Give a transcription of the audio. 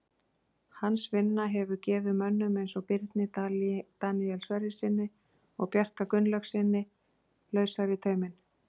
Hans vinna hefur gefið mönnum eins og Birni Daníel Sverrissyni og Bjarka Gunnlaugssyni lausari tauminn.